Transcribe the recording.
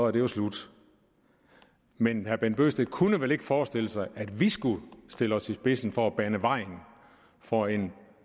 er det jo slut men herre bent bøgsted kunne vel ikke forestille sig at vi skulle stille os i spidsen for at bane vejen for en